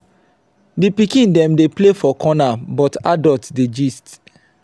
di pikin dem dey play for corner but adult dey gist.